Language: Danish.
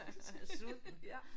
Han er sulten